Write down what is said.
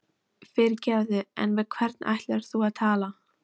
Fyrirgefðu, en við hvern ætlaðir þú að tala?